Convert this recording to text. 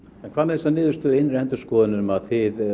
en hvað með þessa niðurstöðu innri endurskoðunar um að